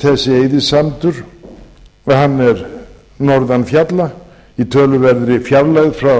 þessi eyðisandur er norðan fjalla í töluverðri fjarlægð frá